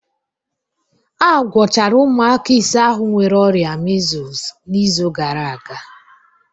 A gwọchara ụmụaka ise ahụ nwere ọrịa measles n'izu gara aga